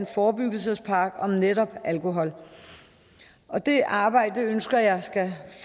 forebyggelsespakken om netop alkohol og det er arbejde ønsker jeg skal